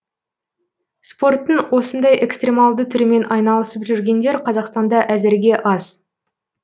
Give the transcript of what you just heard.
спорттың осындай экстремалды түрімен айналысып жүргендер қазақстанда әзірге аз